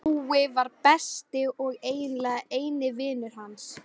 Jói var besti og eiginlega eini vinur hans.